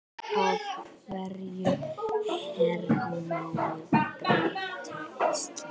Af hverju hernámu Bretar Ísland?